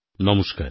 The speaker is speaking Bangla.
নমস্কার